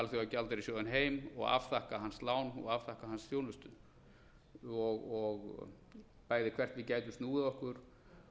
alþjóðagjaldeyrissjóðinn heim og afþakka hans lán og afþakka hans þjónustu bæði hvert við gætum snúið okkur